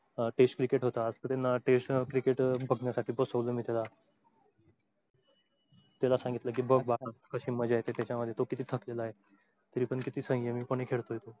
test cricket होत आज test cricket बघण्यासाठी बसवलं मी त्याला, त्याला सांगितलं कि बघ बाळा कशी मजा येते त्याच्या मध्ये तो किती थकलेला आहे. तरीपण किती सय्यमी पणे खेळतोय तो.